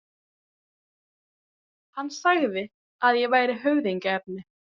Hann sagði að ég væri höfðingjaefni.